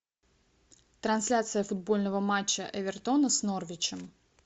трансляция футбольного матча эвертона с норвичем